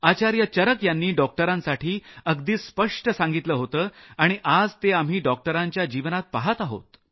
आचार्य चरक यांनी डॉक्टरांसाठी अगदी स्पष्ट सांगितलं होतं आणि आज ते आम्ही डॉक्टरांच्या जीवनात पहात आहोत